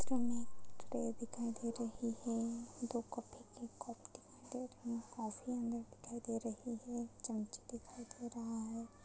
चित्र मे एक प्लेट दिखाई दे रही है दो कॉफी के कप दिखाई दे रहे है कॉफी अंधर दिखाई दे रही है एक चमचा दिखाई दे रहा है।